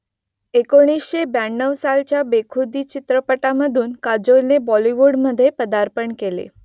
एकोणीसशे ब्याण्णव सालच्या बेखुदी चित्रपटामधून काजोलने बॉलिवूडमध्ये पदार्पण केलं